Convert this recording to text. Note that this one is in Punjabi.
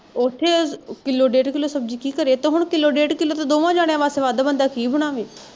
ਓਥੇ ਕਿੱਲੋ ਡੇਢ ਕਿੱਲੋ ਸਬਜ਼ੀ ਕੀ ਕਰੇ ਤੇ ਹੁਣ ਕਿੱਲੋ ਡੇਢ ਕਿੱਲੋ ਤੇ ਦੋਹਵਾਂ ਜਾਣਿਆ ਵਾਸਤੇ ਵੱਢ ਬੰਦਾ ਕੀ ਬਣਾਵੇ?